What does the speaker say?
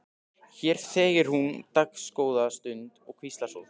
Hér þegir hún dágóða stund og hvíslar svo: